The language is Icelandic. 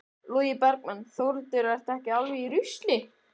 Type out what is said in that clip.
Logi Bergmann: Þórhildur, ertu alveg í rusli?